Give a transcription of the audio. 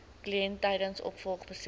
kliënt tydens opvolgbesoeke